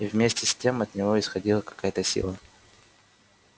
и вместе с тем от него исходила какая-то сила